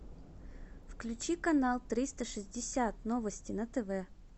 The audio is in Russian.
включи канал триста шестьдесят новости на тв